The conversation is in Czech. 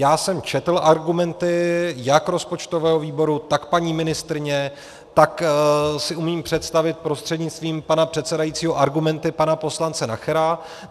Já jsem četl argumenty jak rozpočtového výboru, tak paní ministryně, tak si umím představit prostřednictvím pana předsedajícího argumenty pana poslance Nachera.